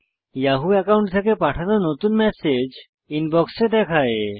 Yahoo account থেকে পাঠানো নতুন ম্যাসেজ ইনবক্সে দেখায়